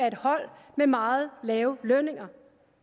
et hold med meget lave lønninger